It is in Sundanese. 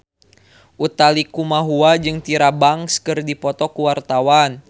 Utha Likumahua jeung Tyra Banks keur dipoto ku wartawan